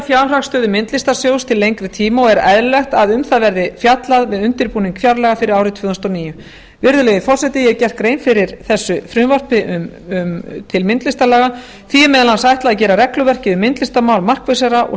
fjárhagsstöðu myndlistarsjóðs til lengri tíma og er eðlilegt að um það verði fjallað við undirbúning fjárlaga fyrir árið tvö þúsund og níu virðulegi forseti ég hef gert grein fyrir þessu frumvarpi til myndlistarlaga því er meðal annars ætlað að gera regluverkið myndlistarmál markvissara og